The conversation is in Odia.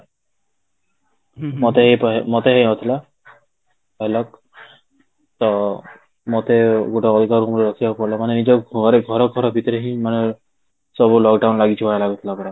ମତେ ମତେ ହେଇଥିଲା ତ ମତେ ଗୋଟେ ଅଲଗା ରୁମ ରେ ରଖିବାକୁ ପଡିଲା ମାନେ ନିଜ ଘରେ ଘର ଘର ଭିତରେ ହିଁ ମାନେ ସବୁ lockdown ଲାଗିଛି ଭଳିଆ ଲାଗୁଥିଲା ପୁରା